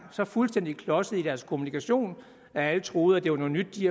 så fuldstændig klodsede i deres kommunikation at alle troede at det var noget nyt de